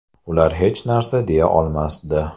Ular hech narsa deya olmasdi.